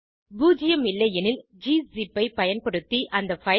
பூஜ்ஜியம் இல்லையெனில் கிஸிப் ஐ பயன்படுத்தி அந்த பைல்